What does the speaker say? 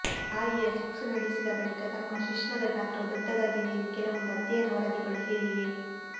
ಬಾಯಿಯ ಸೆಕ್ಸ್ ನಡೆಸಿದ ಬಳಿಕ ತಮ್ಮ ಶಿಶ್ನದ ಗಾತ್ರವು ದೊಡ್ಡದಾಗಿದೆ ಎಂದು ಕೆಲವೊಂದು ಅಧ್ಯಯನ ವರದಿಗಳು ಹೇಳಿವೆ